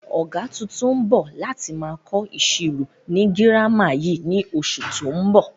Ọ̀gá tuntun ń bọ̀ láti máa kọ ìṣirò ni girama yìí ni oṣù tó ń bọ̀